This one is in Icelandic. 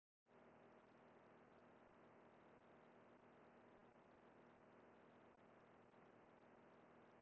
Pabbi hafði oft sagt henni frá fallegu háu fjöllunum en þessi fjöll voru miklu hærri.